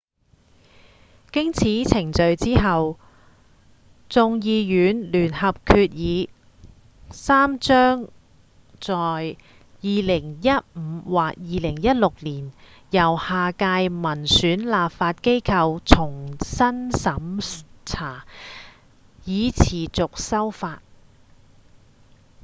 經此程序之後眾議院聯合決議3將在2015或2016年由下屆民選立法機構重新審查以持續修法